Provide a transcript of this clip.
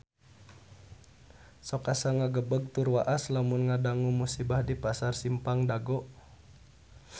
Sok asa ngagebeg tur waas lamun ngadangu musibah di Pasar Simpang Dago